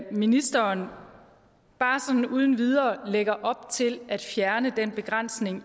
ministeren bare sådan uden videre lægger op til at fjerne den begrænsning